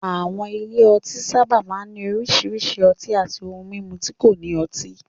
Àwọn ilé ọtí sábà máa ń ní oríṣiríṣi ọtí àti ohun mímu tí kò ní ọtí.